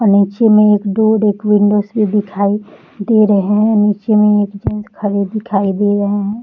अ निचे मे एक रखी दिखाई दे रहे हैं निचे मे एक जेन्स खड़े दिखाई दे रहे है ।